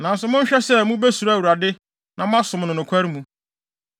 Nanso monhwɛ sɛ mubesuro Awurade na moasom no nokware mu.